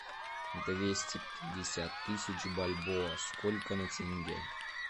двести пятьдесят тысяч бальбоа сколько на тенге